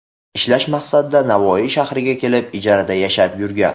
ishlash maqsadida Navoiy shahriga kelib, ijarada yashab yurgan.